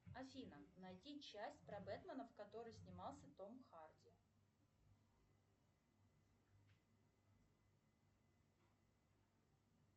афина найди часть про бэтмена в которой снимался том харди